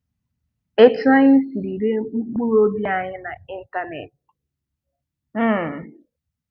Etú anyị siri ree mkpụrụ obi anyị na ịntanetị. um